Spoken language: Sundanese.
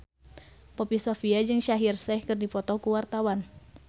Poppy Sovia jeung Shaheer Sheikh keur dipoto ku wartawan